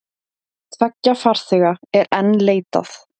Tveggja farþega er enn leitað.